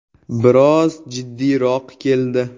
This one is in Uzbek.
Biroz jiddiyroq keldi.